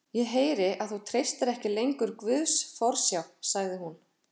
Ég heyri að þú treystir ekki lengur Guðs forsjá, sagði hún.